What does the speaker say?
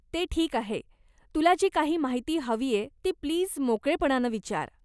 ते ठीक आहे. तुला जी काही माहिती हवीय ती प्लीज मोकळेपणानं विचार.